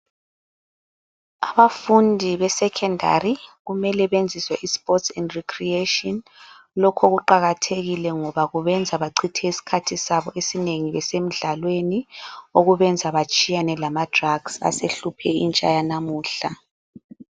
Abafundi besecondary kumele benziswe isports and recreation, lokho kuqakathekile ngoba benza bachithe isikhathi sabo esinengi besemidlalweni, kwenza okubenza batshiyane lama drugs asehluphe intsha yanamuhla.